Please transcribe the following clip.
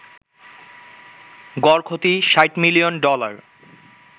গড় ক্ষতি ৬০ million dollar